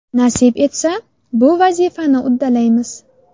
Nasib etsa, bu vazifani uddalaymiz.